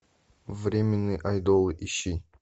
временный айдол ищи